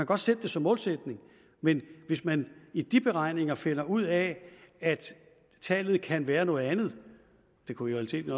godt sætte det som målsætning men hvis man i de beregninger finder ud af at tallet kan være noget andet det kunne i realiteten